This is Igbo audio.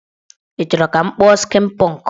Ị chọrọ ka m kpụọ skin pọnk?